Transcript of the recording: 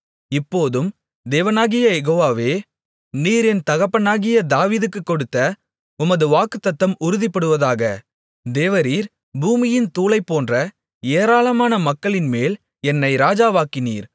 இப்போதும் தேவனாகிய யெகோவாவே நீர் என் தகப்பனாகிய தாவீதுக்குக் கொடுத்த உமது வாக்குத்தத்தம் உறுதிப்படுவதாக தேவரீர் பூமியின் தூளைப்போன்ற ஏராளமான மக்களின்மேல் என்னை ராஜாவாக்கினீர்